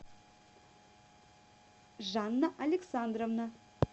жанна александровна